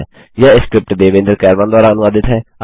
यह स्क्रिप्ट देवेन्द्र कैरवान द्वारा अनुवादित है